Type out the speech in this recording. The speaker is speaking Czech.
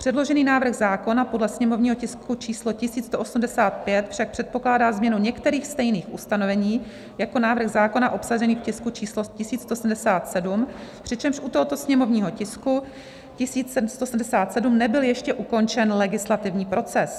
Předložený návrh zákona podle sněmovního tisku číslo 1185 však předpokládá změnu některých stejných ustanovení jako návrh zákona obsažený v tisku číslo 1177, přičemž u tohoto sněmovního tisku 1177 nebyl ještě ukončen legislativní proces.